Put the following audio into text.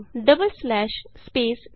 double slash space type ਕਰੋ